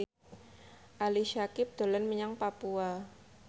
Ali Syakieb dolan menyang Papua